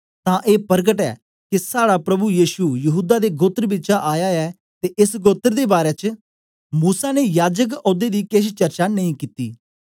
तां ए परकट ऐ के साड़ा प्रभु यीशु यहूदा दे गोत्र बिचा आया ऐ ते एस गोत्र दे बारै च मूसा ने याजक औदे दी केछ चर्चा नेई कित्ती